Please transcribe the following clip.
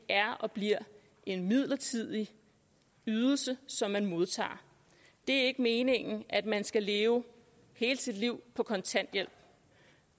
er og bliver en midlertidig ydelse som man modtager det er ikke meningen at man skal leve hele sit liv på kontanthjælp